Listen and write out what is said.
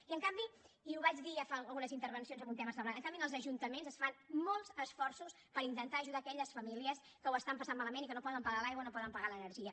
i en canvi i ho vaig dir ja fa algunes intervencions en un tema semblant en els ajuntaments es fan molts esforços per intentar ajudar aquelles famílies que ho estan passant malament i que no poden pagar l’aigua i no poden pagar l’energia